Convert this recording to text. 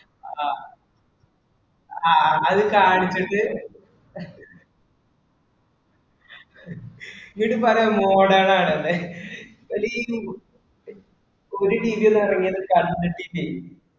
അഹ് അഹ് ആ ഒരു കാര്യത്തിന് എന്നിട്ടു പറയും modern ആണെന്ന്. അതെ ഓര് TV ഒന്നും ഇറങ്ങിയത് കണ്ടിട്ടില്ലേ.